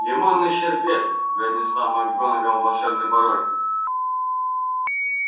лимонный шербет произнесла макгонагалл волшебный пароль